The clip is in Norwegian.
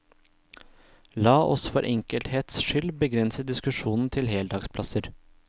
La oss for enkelhets skyld begrense diskusjonen til heldagsplasser.